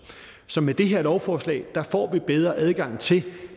så med det her lovforslag får vi bedre adgang til